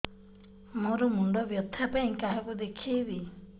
ମୋର ମୁଣ୍ଡ ବ୍ୟଥା ପାଇଁ କାହାକୁ ଦେଖେଇବି